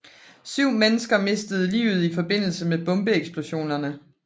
Syv mennesker mistede livet i forbindelse med bombeeksplosionerne